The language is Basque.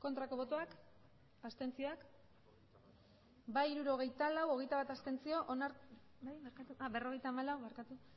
aurkako botoak abstenzioak emandako botoak hirurogeita hamabost bai berrogeita hamalau abstentzioak hogeita bat